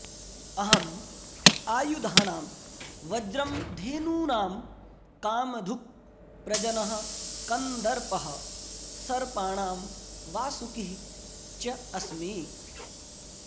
अहम् आयुधानां वज्रं धेनूनां कामधुक् प्रजनः कन्दर्पः सर्पाणां वासुकिः च अस्मि